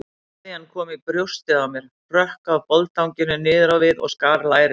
Sveðjan kom í brjóstið á mér, hrökk af boldanginu niður á við og skar lærið.